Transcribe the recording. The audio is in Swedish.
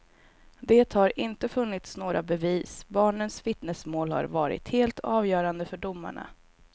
Det har inte funnits några bevis, barnens vittnesmål har varit helt avgörande för domarna.